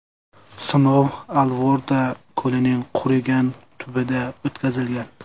Sinov Alvorda ko‘lining qurigan tubida o‘tkazilgan.